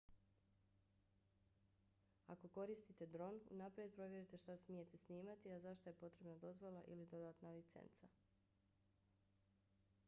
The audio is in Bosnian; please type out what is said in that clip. ako koristite dron unaprijed provjerite šta smijete snimati a za šta je potrebna dozvola ili dodatna licenca